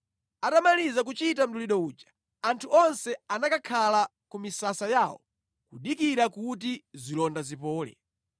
Atamaliza kuchita mdulidwe uja, anthu onse anakakhala ku misasa yawo kudikira kuti zilonda zipole.